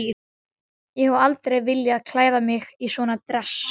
Ég hef aldrei viljað klæða mig í svona dress.